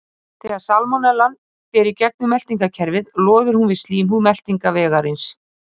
Þegar salmonellan fer í gegnum meltingarkerfið loðir hún við slímhúð meltingarvegarins.